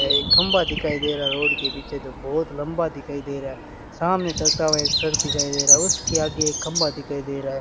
एक खंभा दिखाई दे रहा है रोड के पीछे जो बहुत लंबा दिखाई दे रहा है सामने चलता हुआ एक ट्रक दिखाई दे रहा है उसके आगे एक खंभा दिखाई दे रहा है।